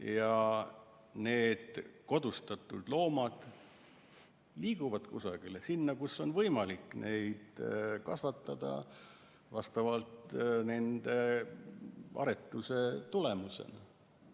Ja need kodustatud loomad liiguvad kusagile sinna, kus on võimalik neid kasvatada tänu nende aretamisele.